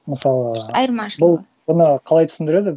мысалы айырмашылығы бұл бұны қалай түсіндіреді